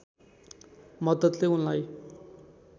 मद्दतले उनलाई